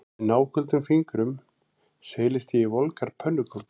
Með náköldum fingrum seilist ég í volgar pönnukökur